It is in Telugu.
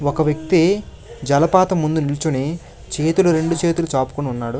ఒక వ్యక్తి జలపాతం ముందు నిల్చొని చేతులు రెండు చేతులు చాపుకొని ఉన్నాడు.